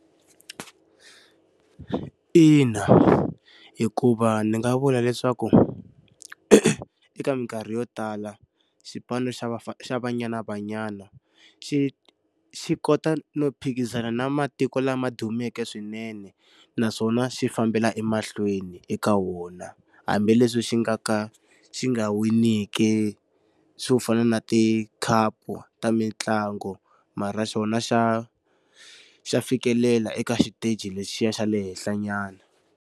Ina hikuva ndzi nga vula leswaku, eka minkarhi yo tala xipano xa Banyana Banyana xi xi kota no phikizana na matiko lama dumeke swinene naswona xi fambela emahlweni eka wona. Hambileswi xi nga ka xi nga winiki swo fana na tikhapu ta mitlangu, mara xona xa xa fikelela eka xiteji lexiya xa le henhla nyana..